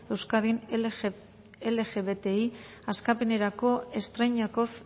euskadin lgbti askapenerako estreinakoz